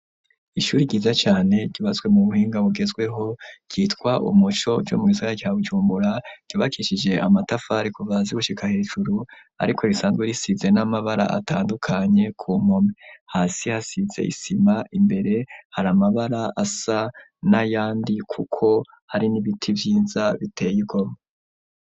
Ishuri yiza cane ryubatswe mu buhinga bugezweho ,ryitwa umuco co mugisagara ca Bujumbura, ryibakishije amatafari kuva hasi gushika hejuru ,ariko risanzwe risize n'amabara atandukanye ,ku mome hasi hasize isima, imbere hari amabara asa n'ayandi, kuko hari n'ibiti vyiza biteye igomwe.